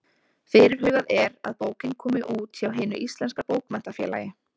Fyrirhugað er að bókin komi út hjá Hinu íslenska bókmenntafélagi.